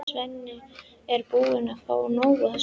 Svenni er búinn að fá nóg af þessu rugli.